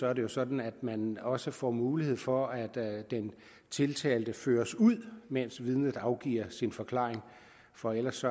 er det jo sådan at man også får mulighed for at den tiltalte føres ud mens vidnet afgiver sin forklaring for ellers